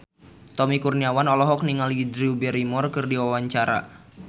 Tommy Kurniawan olohok ningali Drew Barrymore keur diwawancara